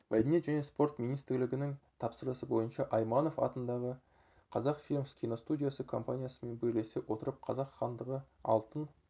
мәдениет және спорт министрлігінің тапсырысы бойынша айманов атындағы қазақфильм киностудиясы компаниясымен бірлесе отырып қазақ хандығы алтын